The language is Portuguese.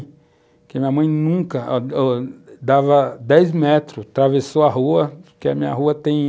Porque a minha mãe nunca... Dava dez metros, atravessou a rua, porque a minha rua tem